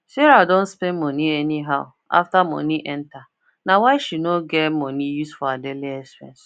sarah don spend money anyhow after money enter nah why she no get money use for her daily expense